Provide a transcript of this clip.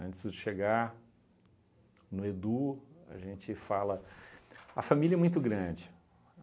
Antes de chegar no Edu, a gente fala... A família é muito grande.